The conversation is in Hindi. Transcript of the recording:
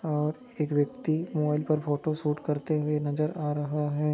और एक व्यक्ति मोबाइल पर फोटो शूट करते हुए नजर आ रहा है।